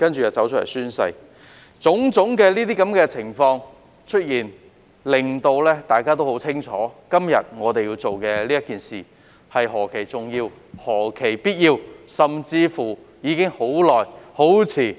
由於出現種種情況，大家也很清楚今天我們所做的是何其重要和必要，甚至是做得太遲。